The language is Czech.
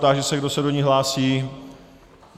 Táži se, kdo se ní hlásí.